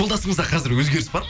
жолдасыңызда қазір өзгеріс бар ма